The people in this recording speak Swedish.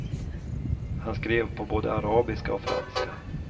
Han skrev på både arabiska och franska.